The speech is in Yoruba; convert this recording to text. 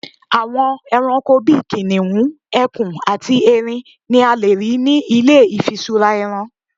àwọn eranko bi kiniun, ẹkùn ati erin ni a lè rí nì ilé ifisura ẹran